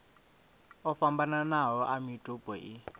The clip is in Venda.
o fhambananaho a mitupo i